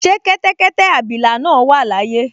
Ṣé kẹ́tẹ́kẹ́tẹ́ abilà náà wà láyé?